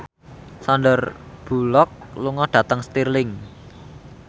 Sandar Bullock lunga dhateng Stirling